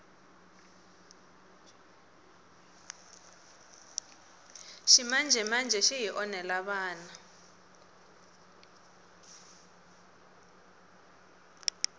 ximanjemanje xi hi onhela vana